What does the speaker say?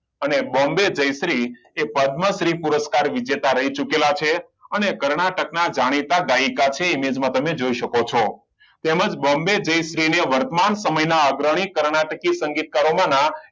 અને બોમ્બે જયશ્રી પદ્મશ્રી પુરષ્કાર વિજેતા રહી ચૂકેલા છે અને કર્ણાટક ના જાણીતા ગાયિકા છે image માં તમે જોય શકો છો તેમજ બોમ્બે જયશ્રી વર્તમાન સમયના અગ્રણી કર્ણાટકીય સંગીત કારો માં નામ